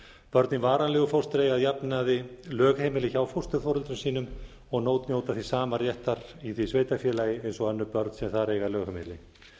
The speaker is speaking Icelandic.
í varanlegu fóstri eiga að jafnaði lögheimili hjá fósturforeldrum sínum og njóta því sama réttar í því sveitarfélagi eins og önnur börn sem þar eiga lögheimili